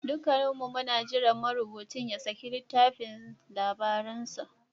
Dukanmu muna jiran marubucin ya saki littafin labaransa.